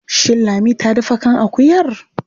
Shin Lami ta dafa kan akuyar?